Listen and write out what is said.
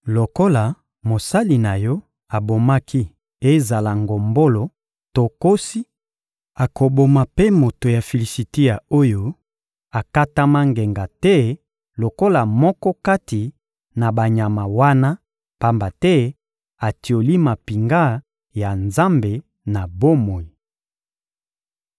Lokola mosali na yo abomaki ezala ngombolo to nkosi, akoboma mpe moto ya Filisitia oyo akatama ngenga te lokola moko kati na banyama wana, pamba te atioli mampinga ya Nzambe na bomoi.